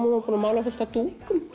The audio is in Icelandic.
hún var búin að mála fullt af